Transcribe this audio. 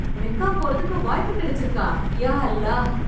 Mecca போறதுக்கு வாய்ப்பு கிடைச்சுருக்கா, யா அல்லா!